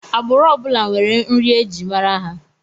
Agbụrụ ọ bụla nwere nri e ji mara ha